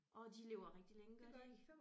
Orh de lever rigtig længe gør de ikke